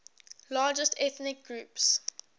largest ethnic groups